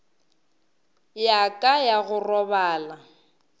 ya ka ya go robala